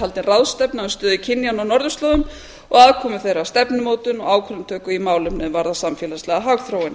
haldin ráðstefna um stöðu kynjanna á norðurslóðum og aðkomu þeirra að stefnumótun og ákvarðanatöku í málum er varða samfélagslega hagþróun